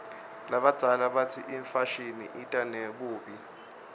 labadzala batsi imfashini ita nebubi